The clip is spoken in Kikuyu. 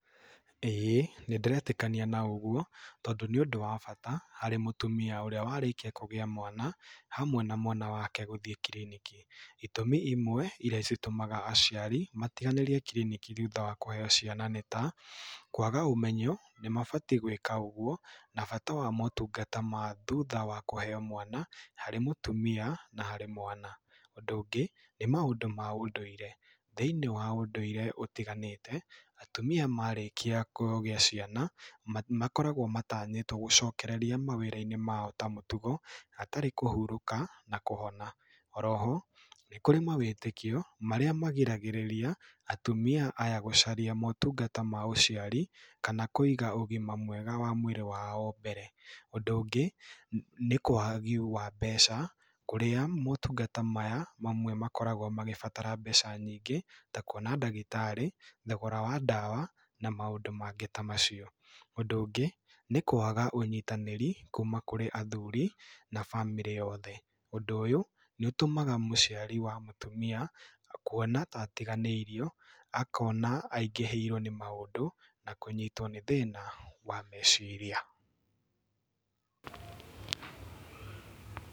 ĩĩ nĩ ndĩretĩkania na ũguo tondũ nĩ ũndũ wa bata harĩ mũtumia ũrĩa warĩkia kũgĩa mwana hamwe na mwana wake gũthiĩ kiriniki. Itũmi iwe iria citũmaga aciari matiganĩria kiriniki thutha wa kũheo ciana nĩ ta, kũaga ũmenyo, nĩ mabatiĩ gũĩka ũguo na bata wa motungata ma thuta wa kũheo mwana harĩ mũtumia na harĩ mwana. Ũndũ ũngĩ, nĩ maũndũ ma ũndũire, thĩiniĩ wa ũndũire ũtiganĩte, atumia marĩkia kũgĩa ciana, makoragwo matanyĩtwo gũcokereria mawĩra-inĩ mao ta mũtugo hatarĩ kũhurũka na kũhona. Oroho, nĩ kũrĩ mawĩtĩkĩo marĩa magiragĩrĩria atumia aya gũcaria motungata ma ũciari kana kũiga ũgima wa mwĩrĩ wao mbere. Ũndũ ũngũ nĩ waagi wa mbeca, kũrĩa motungata maya mamwe makoragwo magĩbatara mbeca nyingĩ ta kuona ndagĩtarĩ, thogora wa ndawa, na maũndũ mangĩ ta macio. Ũndũ ũngĩ nĩ kũaga ũnyitanĩri kuuma kũrĩ athuri na bamĩrĩ yothe. Ũndũ ũyũ nĩ ũtũmaga mũciari wa mũtumia kuona ta atiganĩirio akona aingĩhĩrwo nĩ maũndũ na kũnyitwo nĩ thĩĩna wa meciria.